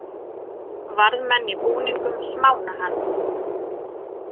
Varðmenn í búningum smána hann